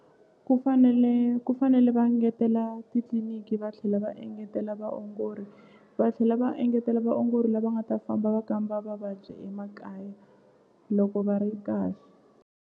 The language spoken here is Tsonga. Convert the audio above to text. Ku fanele ku fanele va engetela titliliniki va tlhela va engetela vaongori va tlhela va engetela vaongori lava nga ta famba va kamba vavabyi emakaya loko va ri kahle.